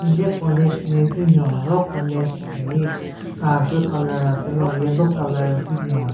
Hile college nme hyu nyon ro college hi ka higu colour atero yellow colour hyu nyon.